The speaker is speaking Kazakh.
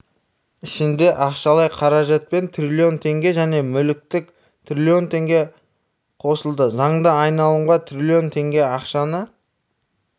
ішінде ақшалай қаражатпен трлн теңге және мүліктік трлн теңге қосылды заңды айналымға трлн теңге ақшаны